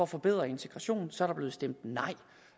forbedre integrationen så er der blevet stemt nej